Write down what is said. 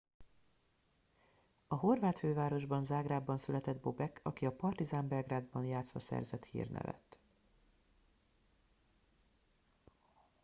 a horvát fővárosban zágrábban született bobek aki a partizan belgrádban játszva szerzett hírnevet